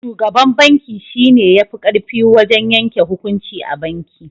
Shugaban banki shi ne ya fi ƙarfi wajen yanke hukunci a banki.